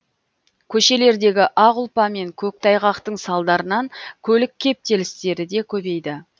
көшелердегі ақ ұлпа мен көктайғақтың салдарынан көлік кептелістері де көбейді